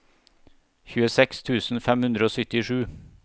tjueseks tusen fem hundre og syttisju